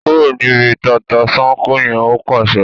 kúrò níbi “tata-n-sánkọ̀” yẹn! Ó pàṣẹ.